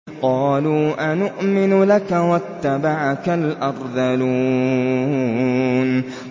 ۞ قَالُوا أَنُؤْمِنُ لَكَ وَاتَّبَعَكَ الْأَرْذَلُونَ